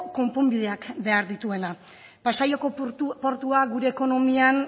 konponbideak behar dituenak pasaiako portua gure ekonomian